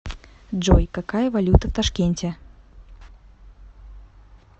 джой какая валюта в ташкенте